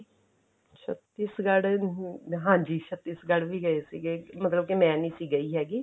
ਛਤੀਸਗੜ ਅਮ ਹਾਂਜੀ ਛਤੀਸਗੜ ਵੀ ਗਏ ਸੀਗੇ ਮਤਲਬ ਕੀ ਮੈਂ ਨਹੀਂ ਸੀ ਗਈ ਹੈਗੀ